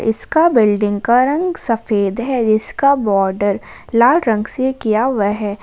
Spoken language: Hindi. इसका बिल्डिंग का रंग सफेद है जिसका बॉर्डर लाल रंग से किया हुआ है।